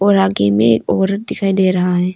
और आगे में औरत दिखाई दे रहा है।